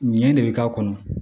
Ɲɛ de bɛ k'a kɔnɔ